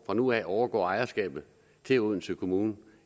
fra nu af overgår ejerskabet til odense kommune